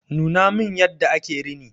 Nuna min yadda ake rini.